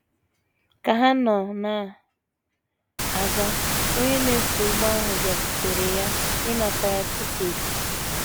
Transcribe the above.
Ka ha nọ na - aga, onye na - eso ụgbọ ahụ bịakwutere ya ịnata ya tiketi.